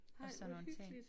Og sådan nogle ting